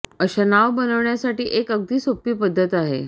अशा नाव बनवण्यासाठी एक अगदी सोपे पद्धत आहे